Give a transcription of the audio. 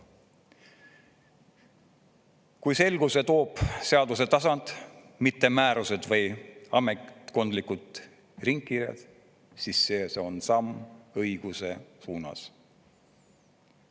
Kui selguse toob seaduse tasand, mitte määrused või ametkondlikud ringkirjad, siis see on samm õiguse suunas.